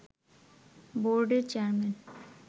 বোর্ডের চেয়ারম্যান